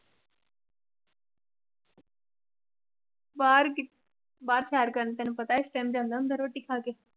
ਬਾਹਰ ਬਾਹਰ ਸੈਰ ਕਰਨ ਤੈਨੂੰ ਪਤਾ ਹੈ ਇਸ time ਜਾਂਦਾ ਹੁੰਦਾ ਰੋਟੀ ਖਾ ਕੇ